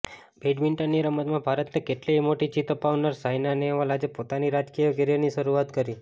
બેડમિન્ટનની રમતમાં ભારતને કેટલીય મોટી જીત અપાવનાર સાઇના નેહવાલ આજે પોતાની રાજકીય કેરિયરની શરૂઆત કરી